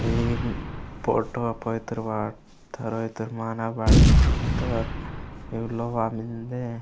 ए photo पोईत्तोर वाटत्तोर माना बाईत्तोर लोहा मेन्दे।